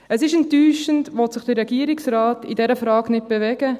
Es ist enttäuschend, will sich der Regierungsrat in dieser Frage nicht bewegen.